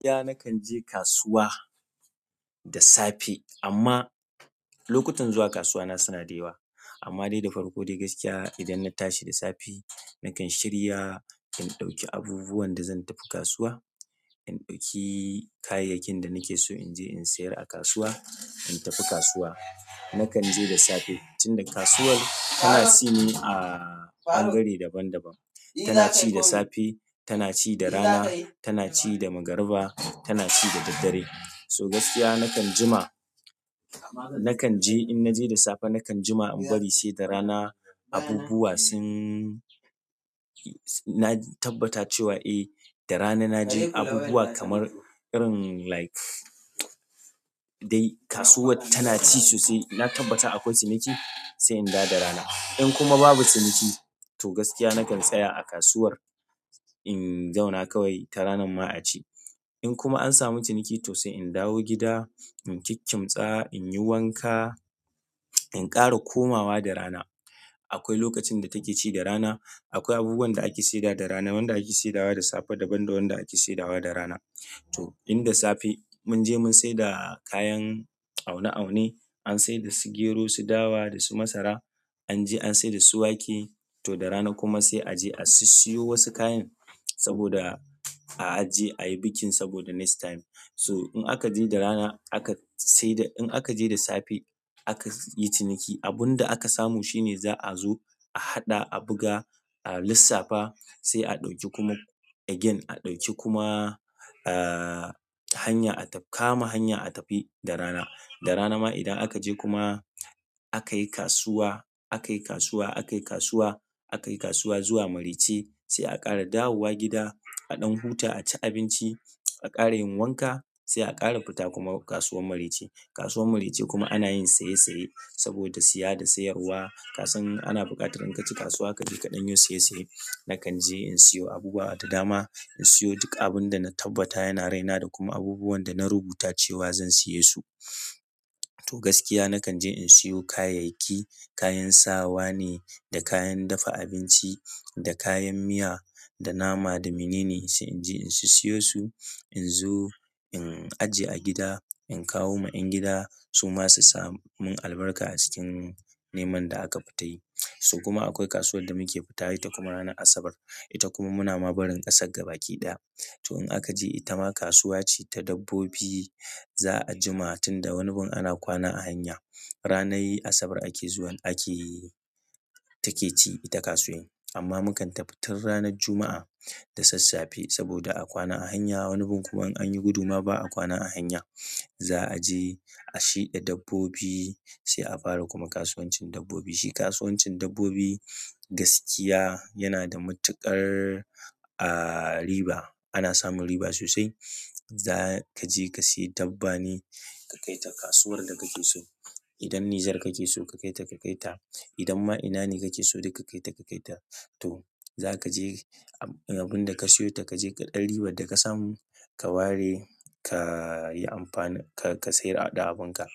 Ya nakan je kasuwa da safe amma lokutan zuwa kasuwa na suna dayawa. Amma dai da farko dai gaskiya idan na tashi da safe, nakan shirya, in ɗauki abubuwan da zan tafi kasuwa. In ɗauki kayayyakin da nake so in je in sayar a kasuwa. In tafi kasuwa, nakan je da safe. Tunda kasuwar tana ci ne a ɓangare daban daban. Tana ci da safe, tana ci da rana, tana ci da magariba, tana ci da daddare. So gaskiya nakan jima-- nakan je in naje da safe nakan jima in bari sai da rana. Abubuwa sun-- na tabbata cewa eh, da rana na ji abubuwa kamar irin like dai kasuwar tana ci sosai. Na tabbata akwai ciniki sai in dawo da rana. In kuma babu ciniki to gaskiya nakan tsaya a kasuwar. In zauna kawai ta ranan ma a ci. In kuma an samu ciniki to sai in dawo gida. In kikkimtsa, in yi wanka, in ƙara komawa da rana. Akwai lokacin da take ci da rana. Akwai abubuwan da ake saida da rana, wanda ake saidawa da safe daban da wanda ake saidawa da rana. To in da safe mun je mun saida kayan aune aune. An saida su gero, su dawa da su masara. Anje an saida su wake to da rana kuma sai aje a sissiyo wasu kayan saboda a aje a yi bikin saboda next time. So in aka je da rana aka saida, in aka je da safe aka yi ciniki. Abunda aka samu shine za'a zo a haɗa a buga a lissafa sai ɗauki kuma again a ɗauki kuma aa hanya a kama hanya a tafi da rana da rana ma idan aka je kuma aka yi kasuwa, aka yi kasuwa, aka yi kasuwa, aka yi kasuwa zuwa marece sai a ƙara dawowa gida. A ɗan huta, a ci abinci, a ƙara yin wanka sai a ƙara fita kuma kasuwar marece. Kasuwar marece kuma ana yin saye saye saboda siya da sayarwa. Kasan ana buƙatar in kaje kasuwa kaje ka ɗan yi saye saye nakan je in siyo abubuwa da dama in siyo duk abinda na tabbata yana raina da kuma abubuwan da na rubuta zan siye su to gaskiya nakan je in siyo kayayyaki, kayan sawa ne, da kayan dafa abinci, da kayan miya, da nama, da minene sai in je in su siyo su. In zo in ajiye a gida. In kawo ma 'yan gida su ma su samu albarka a cikin neman da aka fita yi. So kuma akwai kasuwar da muke fitawa ita kuma ranar Asabar. Ita kuma muna ma barin ƙasar gaba ki ɗaya. To in aka je ita ma kasuwa ce ta dabbobi. Za a jima tun da wani bun ana kwana a hanya. Ranar Asabar ake zuwa ake-- take ci ita kasuwar. Amma mukan tafi tun ranar Juma'a da sassafe saboda a kwana a hanya. Wani bun kuma in anyi gudu ma ba a kwana a hanya. Za a je a shiɗa dabbobi sai a fara kuma kasuwancin dabbobi. Shi kasuwancin dabbobi gaskiya yana da matuƙar, aah, riba. Ana samun riba sosai. Za ka je ka sayi dabba ne ka kaita kasuwar da kake so. Idan Niger kake so ka kaita ka kaita. Idan ma ina ne kake so duk ka kaita ka kaita. To za ka je abun da ka sayota ka je ka ɗan ribar da ka samu ka ware ka yi amfani, ka, ka sayar da abinka.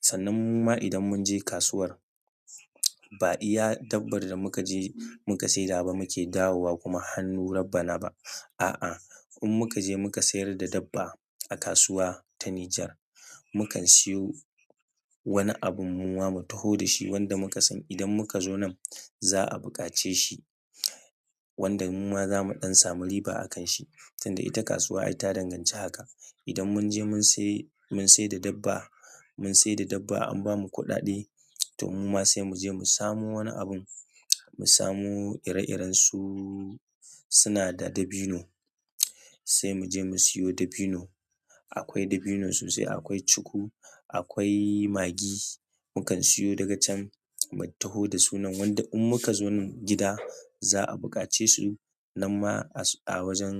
Sannan mu ma idan mun je kasuwar ba iya dabbar da muka je muka saida ba muke dawowa kuma hannu rabbana ba. A'a, in muka je muka sayar da dabba a kasuwa ta Niger, mu kan siyo wani abun mu ma mu taho da shi wanda muka san idan muka zo nan za a buƙace shi. Wanda mu ma za mu ɗan samu riba a kan shi. Tunda ita kasuwa ai ta danganci haka. Idan mun je mun sai, mun saida dabba, mun saida dabba an bamu kuɗaɗe to mu ma sai mu je mu samo wani abun. Mu samu ire irensu suna da dabino. Sai mu je mu siyo dabino. Akwai dabino sosai, akwai cuku, akwai magi. Mu kan siyo daga can mu taho da sunan wanda in muka zo nan gida za a buƙace su. Nan ma a wajen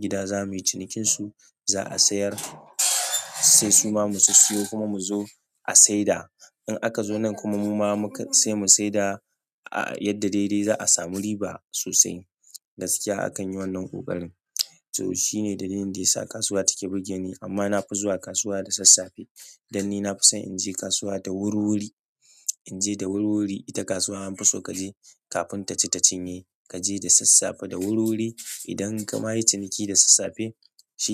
gida zamuyi cinikinsu. Za a sayar sai su ma mu su siyo kuma mu zo a saida. In aka zo nan kuma mu ma muka sai mu saida yadda daidai za a samu riba sosai. Gaskiya akan yi wannan ƙoƙarin. To shine dalilin da ya sa kasuwa take burge ni. Amma nafi zuwa kasuwa da sassafe dan ni na fi son in je kasuwa da wurwuri. In je da wurwuri ita kasuwa an fi so kaje kafin ta ci ta cinye. Kaje da sassafe, da wurwuri idan kama yi ciniki da sassafe shi.